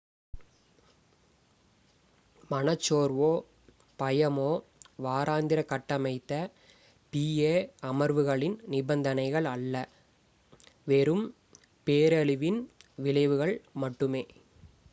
மனச் சோர்வோ பயமோ வாராந்திர கட்டமைத்த pa அமர்வுகளின் நிபந்தனைகள் அல்ல வெறும் பேரழிவின் விளைவுகள் மட்டுமே